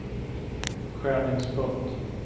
skärningspunkt